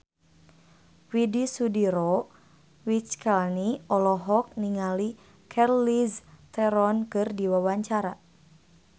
Widy Soediro Nichlany olohok ningali Charlize Theron keur diwawancara